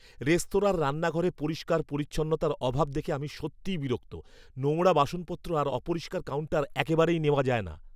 রেস্তোরাঁর রান্নাঘরে পরিষ্কার পরিচ্ছন্নতার অভাব দেখে আমি সত্যিই বিরক্ত। নোংরা বাসনপত্র আর অপরিষ্কার কাউন্টার একেবারেই নেওয়া যায় না।